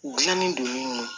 U gilannen don min